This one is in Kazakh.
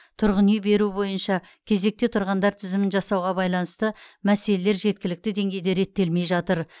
тұрғын үй беру бойынша кезекте тұрғандар тізімін жасауға байланысты мәселелер жеткілікті деңгейде реттелмей жатыр